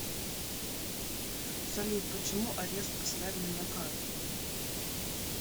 салют почему арест поставили на карту